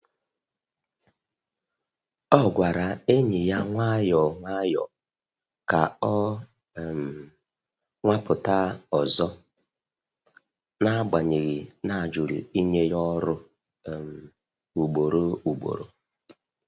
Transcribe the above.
O gwara enyi ya nwayọ nwayọ ka ọ um nwapụta ọzọ, n’agbanyeghị na ajụrụ inye ya ọrụ um ugboro ugboro.